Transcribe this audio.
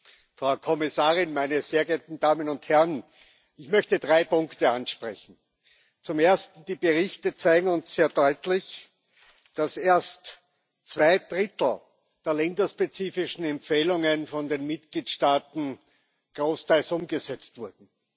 Herr Präsident, Frau Kommissarin, meine sehr geehrten Damen und Herren! Ich möchte drei Punkte ansprechen. Zum Ersten Die Berichte zeigen uns sehr deutlich, dass erst zwei Drittel der länderspezifischen Empfehlungen von den Mitgliedstaaten großteils umgesetzt wurden.